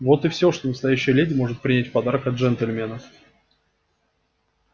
вот и всё что настоящая леди может принять в подарок от джентльмена